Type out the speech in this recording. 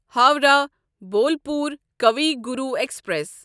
Howrah Bolpur Kavi Guru express